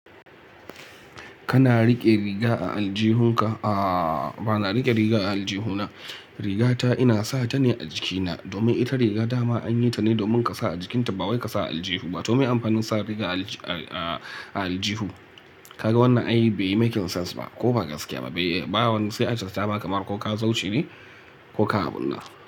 Kana riƙe riga a aljihunka? A ba na riƙe riga a aljihu na, rigata ina sa ta ne a jikina, domin ita riga dama an yi ta ne domin ka sa a jikinta ba wai ka sa a aljihu ba. To me amfanin sa riga a aljihu? Kaga wannan ai bai yi making sense ba ko ba gaskiya ba, bai, ba wani sai a cas ta ba kamar ko ka so shine ko ka a bunna.